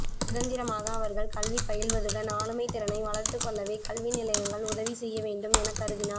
சுதந்திரமாக அவர்கள் கல்வி பயில்வதுடன் ஆளுமைதிறனை வளர்த்துக் கொள்ளவே கல்வி நிலையங்கள் உதவி செய்ய வேண்டும் எனக் கருதினார்